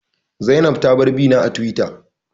Zainab ta bar bina a Tiwita